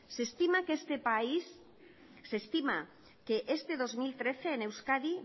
se estima que este dos mil trece en euskadi